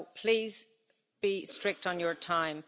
So please be strict on your time.